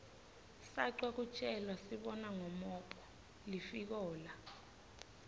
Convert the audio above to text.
sacwa kutjelasibona ngomophg lifikola